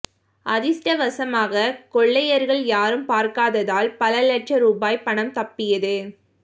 அதிர்ஷ்டவசமாக கொள்ளையர்கள் யாரும் பார்க்காததால் பல லட்சம் ருபாய் பணம் தப்பியது